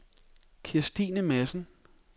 Kirstine Madsen